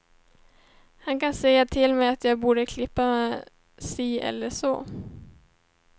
Han kan säga till mig att jag borde klippa mig si eller så.